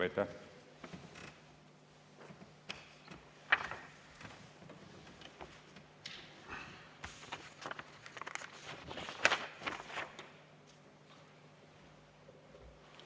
Aitäh!